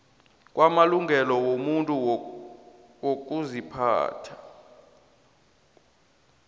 kwamalungelo wobuntu nokuziphatha